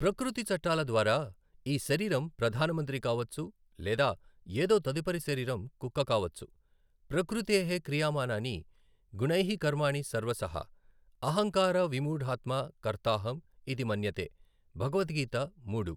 ప్రకృతి చట్టాల ద్వారా ఈ శరీరం ప్రధానమంత్రి కావచ్చు లేదా ఏదో తదుపరి శరీరం కుక్క కావచ్చు, ప్రకృతేః క్రియమానాని గుణైః కర్మాణి సర్వశః అహంకార విమూఢాత్మా కర్తాహం ఇతి మన్యతే . భగవత్ గీత మూడు.